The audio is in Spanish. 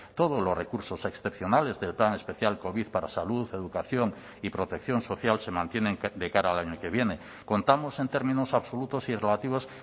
todos los recursos excepcionales del plan especial covid para salud educación y protección social se mantienen de cara al año que viene contamos en términos absolutos y relativos